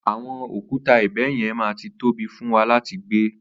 Àwọn òkúta ibẹ̀ yẹn ma ti tóbi fún wa láti gbé.